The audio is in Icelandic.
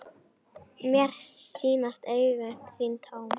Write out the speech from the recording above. Mér sýnast augu þín tóm.